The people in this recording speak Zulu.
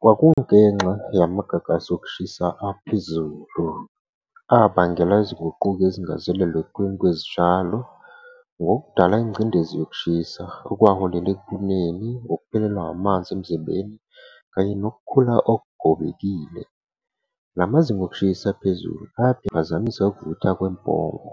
Kwakungenxa yamagagasi okushisa aphezulu. Abangela izinguquko ezingazelelwe ngokudala ingcindezi yokushisa okwaholela ekuneni, nokuphelelwa amanzi emzimbeni kanye nokukhula okugobekile. Lamazinga okushisa aphezulu aphazamise ukuvuthwa .